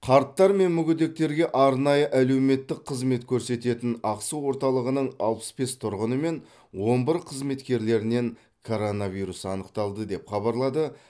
қарттар мен мүгедектерге арнайы әлеуметтік қызмет көрсететін ақсу орталығының алпыс бес тұрғыны мен он бір қызметкерлерінен коронавирус анықталды деп хабарлады